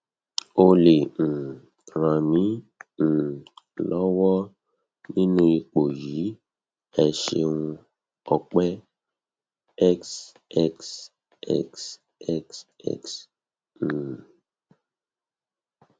o lè um ràn mí um lọwọ nínú ipò yìí ẹ ṣeun ọpẹ xxxxx um